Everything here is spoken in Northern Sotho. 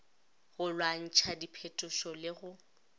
go lwantšha diphetetšo le go